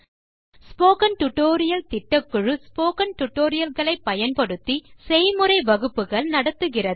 spoken tutorial திட்டக்குழு spoken tutorial களை பயன்படுத்தி செய்முறை வகுப்புகள் நடத்துகிறது